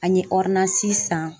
An ye san.